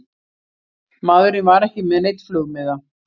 Maðurinn var ekki með neinn flugmiða